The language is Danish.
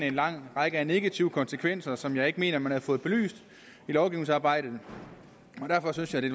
en lang række af negative konsekvenser som jeg ikke mener man har fået belyst i lovgivningsarbejdet derfor synes jeg det